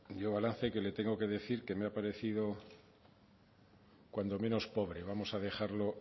yo el balance que le tengo que decir que me ha parecido cuando menos pobre vamos a dejarlo